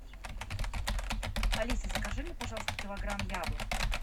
алиса закажи мне пожалуйста килограмм яблок